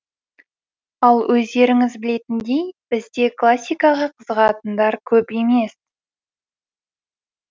ал өздеріңіз білетіндей бізде классикаға қызығатындар көп емес